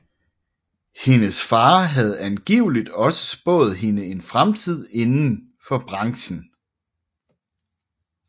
Hendes far havde angiveligt også spået hende en fremtid inden for branchen